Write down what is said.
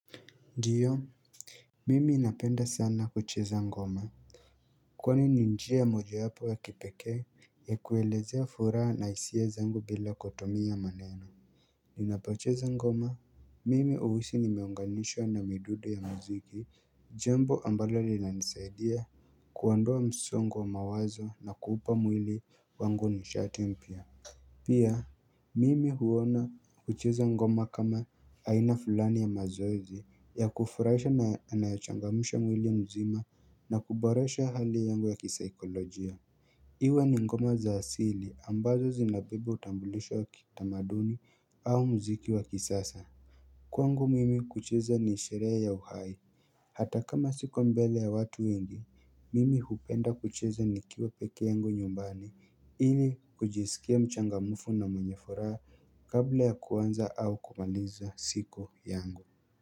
Ndiyo Mimi napenda sana kucheza ngoma Kwani ni njia ya moja wapo ya kipekee ya kuelezea furaha na hisia zangu bila kutumia maneno Ninapocheza ngoma Mimi huhisi nimeunganishwa na midudo ya mziki jambo ambalo linanisaidia kuondoa msongo wa mawazo na kuupa mwili wangu nishati mpya Pia, mimi huona kucheza ngoma kama aina fulani ya mazoezi ya kufurahisha na yanayochangamsha mwili mzima na kuboresha hali yangu ya kisaikolojia Iwe ni ngoma za asili ambazo zinapiga utambulisho wakitamaduni au mziki wa kisasa Kwangu mimi kucheza ni sherehe ya uhai Hata kama siko mbele ya watu wengi, mimi hupenda kucheza nikiwa peke yangu nyumbani ili kujisikia mchangamufu na mwenye furaha kabla ya kuanza au kumaliza siku yangu.